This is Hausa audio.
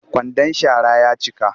Kwandan shara ya cika